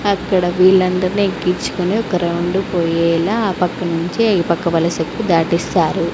అక్కడ వీళ్ళందర్నీ ఎక్కించుకుని ఒక రౌండు పోయ్యేలా ఆ పక్క నుంచి ఈ పక్క వలసకు దాటిస్తారు.